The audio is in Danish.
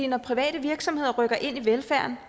når private virksomheder rykker ind i velfærden